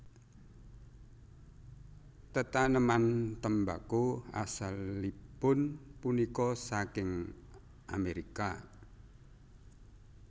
Tetaneman tembako asalipun punika saking Amerika